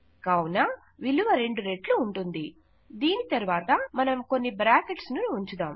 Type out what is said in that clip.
కావున విలువ 2 రెట్లు ఉంటుంది దీని తరువాత మనం కొన్ని బ్రాకెట్స్ ను ఉంచుదాం